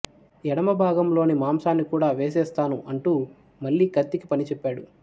ఎడమభాగంలోని మాంసాన్ని కూడా వేసేస్తాను అంటూ మళ్లీ కత్తికి పనిచెప్పాడు